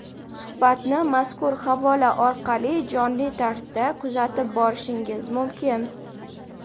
Suhbatni mazkur havola orqali jonli tarzda kuzatib borishingiz mumkin.